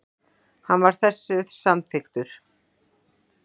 Hann var þessu samþykkur.